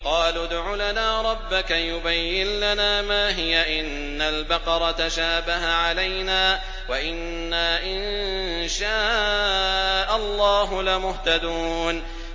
قَالُوا ادْعُ لَنَا رَبَّكَ يُبَيِّن لَّنَا مَا هِيَ إِنَّ الْبَقَرَ تَشَابَهَ عَلَيْنَا وَإِنَّا إِن شَاءَ اللَّهُ لَمُهْتَدُونَ